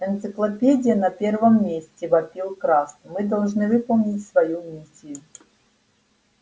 энциклопедия на первом месте вопил краст мы должны выполнить свою миссию